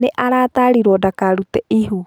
Nĩ aratarirwo ndakarute ihu.